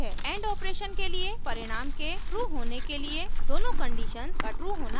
and operation के लिए परिणाम के true होने के लिए दोनों conditions का true होना आवश्यक है